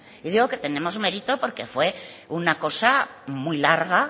le digo que tenemos mérito porque fue una cosa muy larga